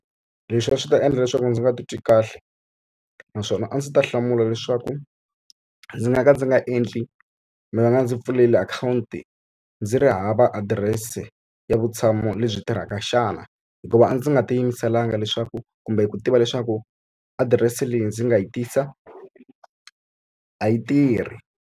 Leswi a swi ta endla leswaku ndzi nga titwi kahle, naswona a ndzi ta hlamula leswaku ndzi nga ka ndzi nga endli va nga ndzi pfulela akhawunti ndzi ri hava adirese ya vutshamo lebyi tirhaka xana. Hikuva a ndzi nga tiyimiselanga leswaku kumbe ku tiva leswaku adirese leyi ndzi nga yi tisa a yi tirhi.